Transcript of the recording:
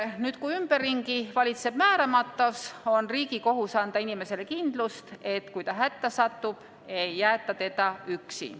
Nüüd, kui ümberringi valitseb määramatus, on riigi kohus anda inimesele kindlust, et kui ta hätta satub, ei jäeta teda üksi.